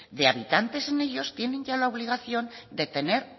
de habitantes en ellos tienen ya la obligación de tener